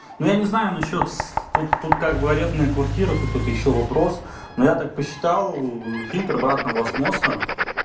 ну я не знаю насчёт с тут тут как арендная квартира тут это ещё вопрос но я так посчитал фильтр обратного осмоса